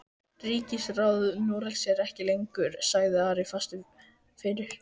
Ríkisráð Noregs er ekki til lengur, sagði Ari fastur fyrir.